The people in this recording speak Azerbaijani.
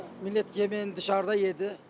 Millət yeməyini dışarda yedi.